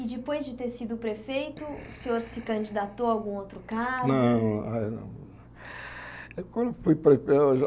E depois de ter sido prefeito, o senhor se candidatou a algum outro cargo? Não aí não quando eu fui prefei eu já